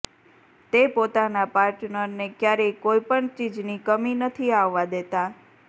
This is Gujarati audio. તે પોતાના પાર્ટનરને ક્યારેય કોઇ પણ ચીજની કમી નથી આવવા દેતા